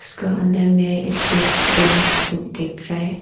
के अंदर में एक डेस्क बेंच दिख रहा है।